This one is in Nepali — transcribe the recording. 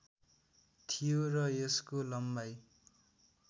थियो र यसको लम्बाइ